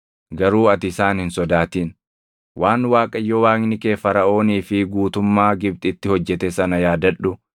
Garuu ati isaan hin sodaatin; waan Waaqayyo Waaqni kee Faraʼoonii fi guutummaa Gibxitti hojjete sana yaadadhu.